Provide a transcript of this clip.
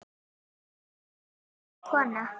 En hver er þessi kona?